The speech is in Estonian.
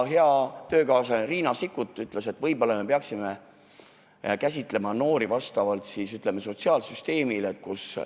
Hea töökaaslane Riina Sikkut ütles, et võib-olla me peaksime lähtuma sotsiaalsüsteemi praktikast.